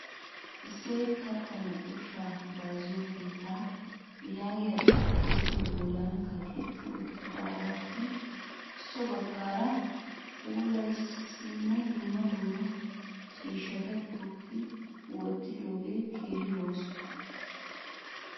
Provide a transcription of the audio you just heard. Isseet kattaanne ushshaa bayizziyo keettaa yaagiya xuupee bollan kaqetti uttidaagaappe so baggaara puulayanaassi dumma dumma ciishshata tookki wottidoogeeti keehi lo'oososna.